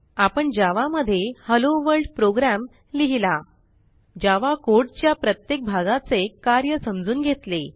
आपण जावा मध्ये hello world program लिहिला जावा codeच्या प्रत्येक भागाचे कार्य समजून घेतले